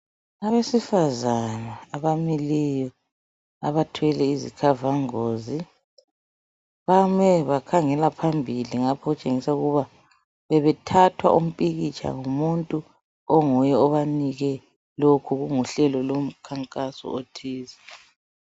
Abesifazana abamileyo abathwele izikhavangozi, bame bakhangela phambili ngapha okutshengisa ukuba bebethathwa umpikitsha ngumuntu onguye obanike lokhu kunguhlelo lomkhankaso othize.